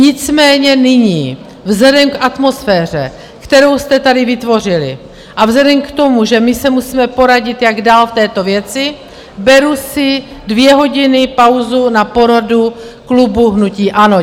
Nicméně nyní vzhledem k atmosféře, kterou jste tady vytvořili, a vzhledem k tomu, že my se musíme poradit, jak dál v této věci, beru si dvě hodiny pauzu na poradu klubu hnutí ANO.